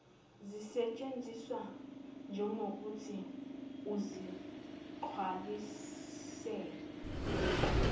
zisetshenziswe njegokuthi ukuzigcwalisela